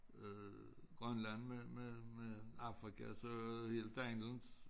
Øh Grønland med med med Afrika så det helt anderledes